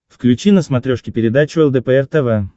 включи на смотрешке передачу лдпр тв